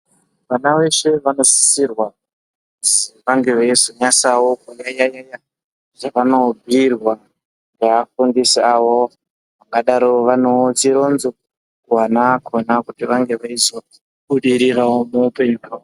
Vana vese vanosisirwa kuzi vange veizonyasavo kunyanya-nyanya zvavanobhuirwa neafundisi avo. Vangadaro vanevo chironzo kuvana vakona kuti vange veizobudiriravo muupenyu hwavo.